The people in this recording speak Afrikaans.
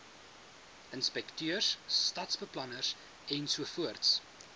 inspekteurs stadsbeplanners ensovoorts